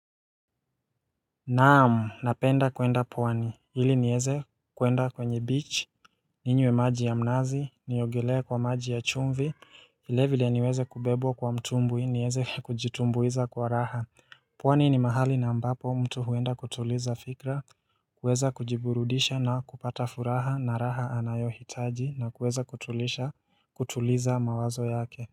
Naam, napenda kwenda pwani, ili nieze kwenda kwenye beach, ninywe maji ya mnazi, niogelee kwa maji ya chumvi, vile vile niweze kubebwa kwa mtumbwi, nieze kujitumbuiza kwa raha pwani ni mahali na ambapo mtu huenda kutuliza fikra, kuweza kujiburudisha na kupata furaha na raha anayohitaji na kuweza kutuliza mawazo yake.